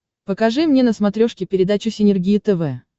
покажи мне на смотрешке передачу синергия тв